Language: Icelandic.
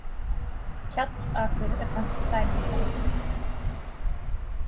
Kjallakur er kannski dæmi um það.